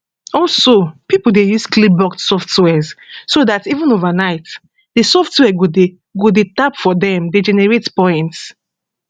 also pipo dey use clickbot soft wares so dat even overnight di software go dey go dey tap for dem dey generate points